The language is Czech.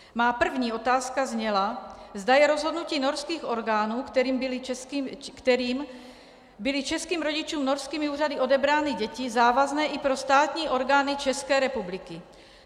Má první otázka zněla, zda je rozhodnutí norských orgánů, kterým byly českým rodičům norskými úřady odebrány děti, závazné i pro státní orgány České republiky.